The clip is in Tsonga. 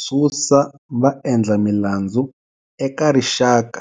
Susa vaendlamilandzu eka rixaka,